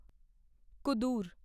ਕੁਦੂਰ